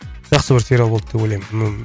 жақсы бір сериал болды деп ойлаймын